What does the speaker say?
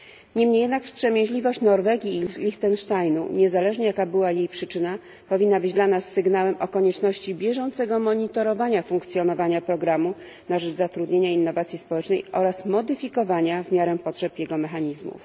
Niemniej jednak wstrzemięźliwość Norwegii i Lichtensteinu niezależnie od tego, jaka była jej przyczyna powinna być dla nas sygnałem o konieczności bieżącego monitorowania funkcjonowania programu na rzecz zatrudnienia i innowacji społecznej oraz modyfikowania, w miarę potrzeb, jego mechanizmów.